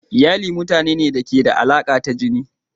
Iyali rukuni ne na mutane da ke da alaƙa ta jini.